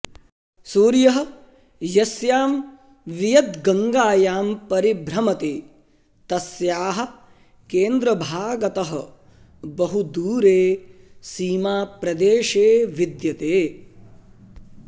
सूर्यः यस्यां वियद्गङ्गायां परिभ्रमति तस्याः केन्द्रभागतः बहु दूरे सीमाप्रदेशे विद्यते